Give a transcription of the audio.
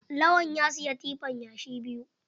Lawan ya siyi tifan yashi biyu.